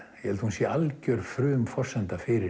ég held hún sé alger frumforsenda fyrir